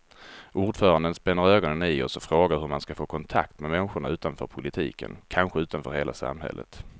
Ordföranden spänner ögonen i oss och frågar hur man ska få kontakt med människorna utanför politiken, kanske utanför hela samhället.